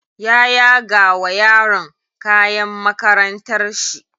Ya yaga wa yaron kayan makarantar shi.